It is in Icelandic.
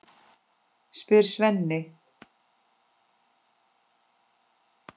spyr Svenni.